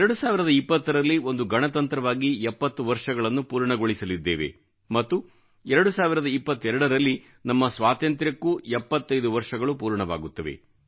2020ರಲ್ಲಿ ಒಂದು ಗಣತಂತ್ರವಾಗಿ ಎಪ್ಪತ್ತು ವರ್ಷಗಳನ್ನು ಪೂರ್ಣಗೊಳಿಸಲಿದ್ದೇವೆ ಮತ್ತು 2022ರಲ್ಲಿ ನಮ್ಮ ಸ್ವಾತಂತ್ರ್ಯಕ್ಕೂ ಎಪ್ಪತ್ತೈದು ವರ್ಷಗಳು ಪೂರ್ಣವಾಗುತ್ತವೆ